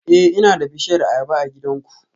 Eh ina da bishiyar ayaba a gidanku